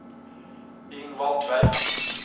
Ingvald Tveit